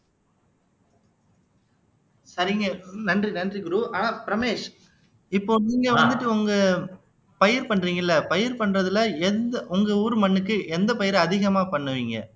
சரிங்க நன்றி நன்றி குரு ஆஹ் ரமேஷ் இப்போ நீங்க வந்துட்டு உங்க பயிர் பண்றீங்கல்ல பயிர் பண்றதுல எந்த உங்க ஊர் மண்ணுக்கு எந்த பயிரை அதிகமா பண்ணுவீங்க